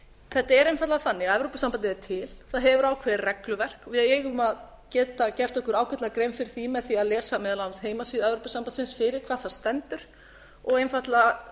þetta er einfaldlega þannig að evrópusambandið er til það hefur ákveðið regluverk við eigum að geta gert okkur ágætlega grein fyrir því með því að lesa meðal annars heimasíðu evrópusambandsins fyrir hvað það stendur og einfaldlega